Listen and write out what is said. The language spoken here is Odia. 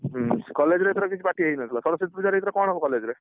ହୁଁ college ଏଥର କିଛି party ହେଇନଥିଲା ସରସ୍ୱତୀ ପୂଜାରେ ଏଥର କଣ ହବ college ରେ?